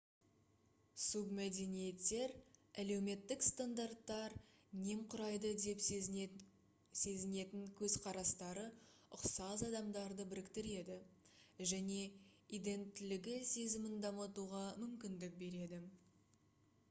субмәдениеттер әлеуметтік стандарттар немқұрайды деп сезінетін көзқарастары ұқсас адамдарды біріктіреді және иденттілігі сезімін дамытуға мүмкіндік береді